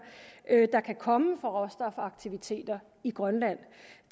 der kan komme fra råstofaktiviteter i grønland